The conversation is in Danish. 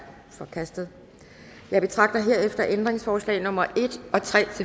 forkastet jeg betragter herefter ændringsforslag nummer en og tre